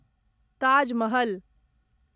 Taj Mahal